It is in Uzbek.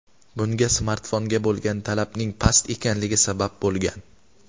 Bunga smartfonga bo‘lgan talabning past ekanligi sabab bo‘lgan.